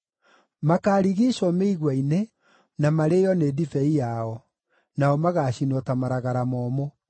Makaarigiicwo mĩigua-inĩ na marĩĩo nĩ ndibei yao; nao magaacinwo ta maragara momũ.